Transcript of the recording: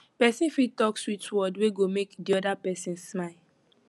persin fit talk sweet word wey go make di other persin smile